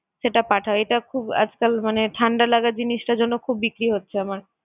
সেটা পাঠাও, এটা খুব আজকাল মানে ঠাণ্ডা লাগার জিনিসটার জন্য খুব বিক্রি হচ্ছে আমার।